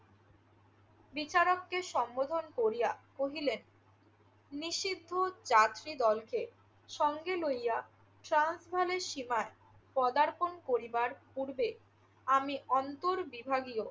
বিচারককে সম্বোধন করিয়া কহিলেন নিশিপুর যাত্রীদলকে সঙ্গে লইয়া ট্রান্সভ্যালের সীমায় পদার্পণ করিবার পূর্বে আমি অন্তর্বিভাগীয়